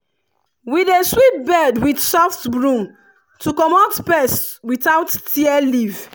we dey sweep bed with soft broom to comot pest without tear leaf.